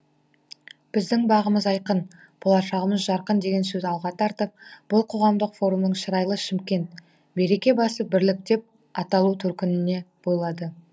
біздің бағымыз айқын болашағымыз жарқын деген сөзін алға тартып бұл қоғамдық форумның шырайлы шымкент береке басы бірлік деп аталу төркініне бойлады